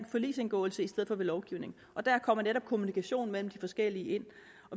forligsindgåelse i stedet for ved lovgivning og der kommer netop kommunikation mellem de forskellige